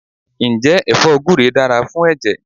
Ǹjẹ́ ẹfọ́ gure dára fún ẹ̀jẹ̀?